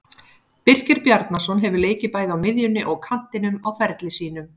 Birkir Bjarnason hefur leikið bæði á miðjunni og kantinum á ferli sínum.